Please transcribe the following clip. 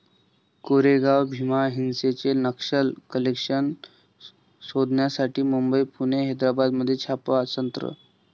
कोरेगाव भीमा हिंसेचे नक्षल कनेक्शन शोधण्यासाठी मुंबई, पुणे, हैद्राबादमध्ये छापासत्र